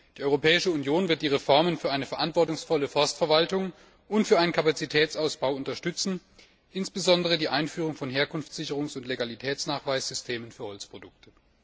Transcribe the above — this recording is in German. Die Europäische Union wird die Reformen für eine verantwortungsvolle Forstverwaltung und für einen Kapazitätsausbau unterstützen, insbesondere die Einführung von Herkunftssicherungs und Legalitätsnachweissystemen für Holzprodukte.